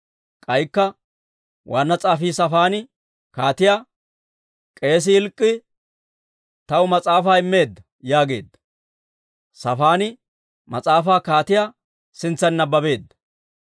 K'aykka waanna s'aafii Saafaani kaatiyaa, «K'eesii Hilk'k'ii taw mas'aafaa immeedda» yaageedda; Saafaani mas'aafaa kaatiyaa sintsan nabbabeedda.